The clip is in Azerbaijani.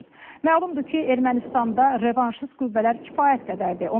Məlumdur ki, Ermənistanda revanşist qüvvələr kifayət qədərdir.